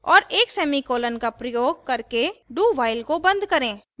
और एक सेमीकॉलन का प्रयोग करके dowhile को and करें